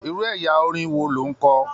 Irú ẹyà orin wo lo n kọ?